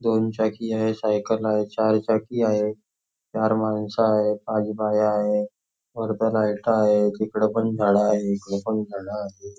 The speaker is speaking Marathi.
दोन चाकी आहे सायकल आहे चार चाकी आहे चार मानस आहेत खाली बाया आहेत वर दोन लाईट आहे इकडे तिकडे झाड आहेत.